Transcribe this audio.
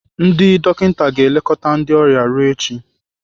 Ndị dọkịta ga-elekọta ndị ọrịa ruo echi.